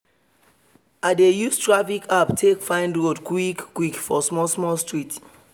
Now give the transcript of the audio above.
i dey use traffic app take find road quick quick for small small street